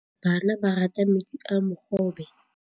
Bana ba rata metsi a mogobe.